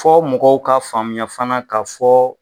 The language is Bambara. Fɔ mɔgɔw ka faamuya fana ka fɔ.